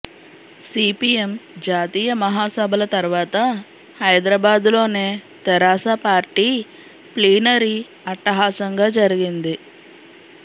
CPM జాతీయ మహాసభల తర్వాత హైదరాబాద్లోనే తెరాస పార్టీ ప్లీనరీ అట్టహాసంగా జరిగింది